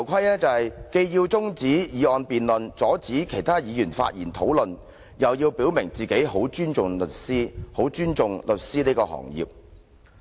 他既要中止有關的議案辯論，阻止其他議員發言討論，又要表明自己十分尊重律師和律師行業。